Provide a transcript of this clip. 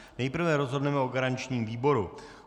Nejprve rozhodneme o garančním výboru.